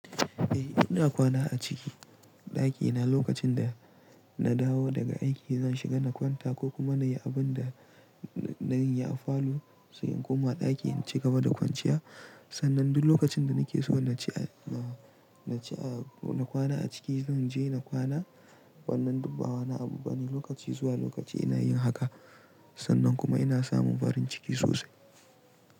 Eh ina kwana a ciki ɗakina lokacin da na dawo daga aiki zan shiga na kwanta ko kuma na yi abin da na yi a falo sai in koma ɗaki in ci gaba da kwanciya. Sannan duk lokacin da nake so na ci a, na ci a, na kwana a ciki zan je na kwana. Wannan duk ba wani abu bane lokaci zuwa lokaci ina yin haka sannan kuma ina samun farin ciki sosai.